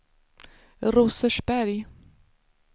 Rosersberg